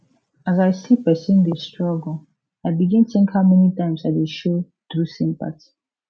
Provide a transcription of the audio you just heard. as i see person dey struggle i begin think how many times i dey show true sympathy